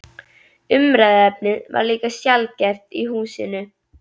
Umræðuefnið var líka sjaldgæft í húsinu.